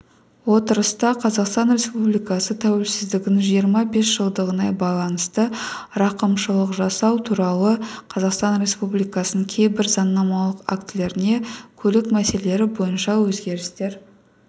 отырыста қазақстан республикасы тәуелсіздігінің жиырма бес жылдығына байланысты рақымшылық жасау туралы қазақстан республикасының кейбір заңнамалық актілеріне көлік мәселелері бойынша өзгерістер